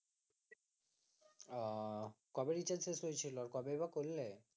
ও কবে রিচার্জ শেষ হয়েছিল কবেই বা করলে